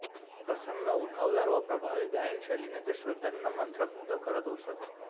प्रसन्न उठावदार व प्रभावी गायन शैलीने ते श्रोत्यांना मंत्रमुग्ध करत असत